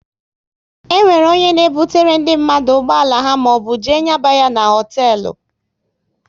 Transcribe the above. E nwere onye na ebutere ndị mmadụ ụgbọala ha maọbụ jee nyaba ya n'hotelu